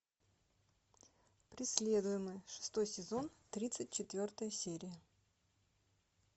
преследуемые шестой сезон тридцать четвертая серия